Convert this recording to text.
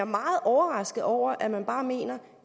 meget overrasket over at man bare mener